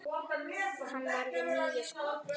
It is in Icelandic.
Hann varði níu skot.